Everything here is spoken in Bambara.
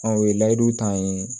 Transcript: o ye layidu ta ye